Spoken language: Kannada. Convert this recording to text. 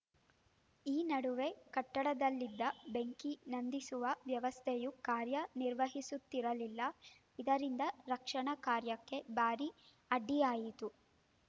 ಈ ನಡುವೆ ಕಟ್ಟಡದಲ್ಲಿದ್ದ ಬೆಂಕಿ ನಂದಿಸುವ ವ್ಯವಸ್ಥೆಯು ಕಾರ್ಯ ನಿರ್ವಹಿಸುತ್ತಿರಲಿಲ್ಲ ಇದರಿಂದ ರಕ್ಷಣಾ ಕಾರ್ಯಕ್ಕೆ ಭಾರೀ ಅಡ್ಡಿಯಾಯಿತು